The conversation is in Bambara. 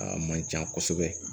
A man can kosɛbɛ